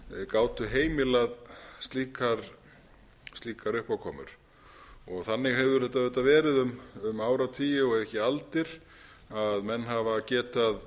gátu heimilað slíkar uppákomur þannig hefur þetta verið um áratugi ef ekki aldir að menn hafa getað